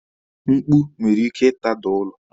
Mkpu nwere ike ị tada ụlọ.